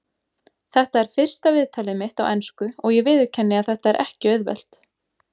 Þetta er fyrsta viðtalið mitt á ensku og ég viðurkenni að þetta er ekki auðvelt.